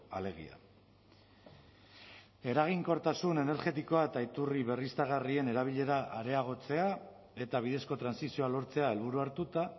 alegia eraginkortasun energetikoa eta iturri berriztagarrien erabilera areagotzea eta bidezko trantsizioa lortzea helburu hartuta